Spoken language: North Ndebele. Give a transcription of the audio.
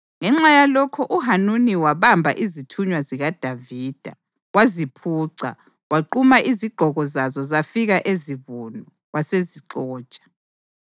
Ngenxa yalokho uHanuni wabamba izithunywa zikaDavida, waziphuca, waquma izigqoko zazo zafika ezibunu, wasezixotsha.